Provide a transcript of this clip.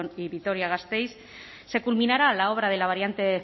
y vitoria gasteiz se culminará la obra de la variante